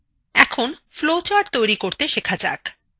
এখন flowcharts তৈরী করতে শেখা যাক